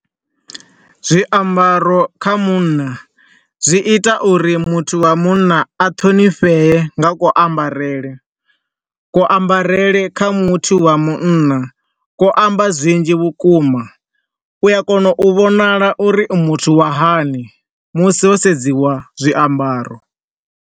Zwiambaro kha munna zwi ita uri muthu wa munna a ṱhonifhee nga ku ambarele. Ku ambarele kha muthu wa munna ku amba zwinzhi vhukuma, u a kona u vhonala uri u muthu wa hani musi ho sedziwa zwiambaro.